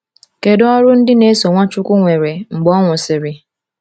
Kedu ọrụ ndị na-eso Nwachukwu nwere mgbe ọ nwụsịrị?